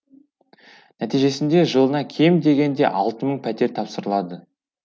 нәтижесінде жылына кем дегенде алты мың пәтер тапсырылады